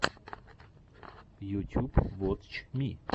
ютюб вотч ми